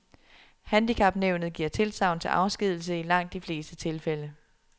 Handicapnævnet giver tilsagn til afskedigelse i langt de fleste tilfælde.